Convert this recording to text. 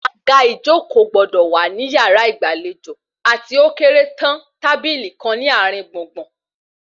Àga ìjókòó gbọdọ̀ wà nínú yàrá ìgbàlejò àti ókéré tán tábìlì kan ní àárín gbùngbùn